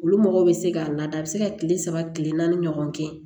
Olu mɔgɔw bɛ se k'a lada a bɛ se ka kile saba kile naani ɲɔgɔn kɛ